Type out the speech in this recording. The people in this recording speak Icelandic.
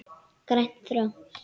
Grænt og þröngt.